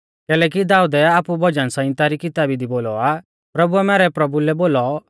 कैलैकि दाऊदै आपु भजन सहिंता री किताबी दी बोलौ आ प्रभुऐ मैरै प्रभु लै बोलौ